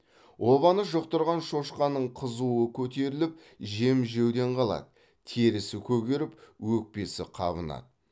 обаны жұқтырған шошқаның қызуы көтеріліп жем жеуден қалады терісі көгеріп өкпесі қабынады